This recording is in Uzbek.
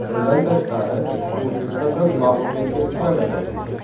Bundan tashqari, u hech qachon mag‘lubiyatga uchramagan.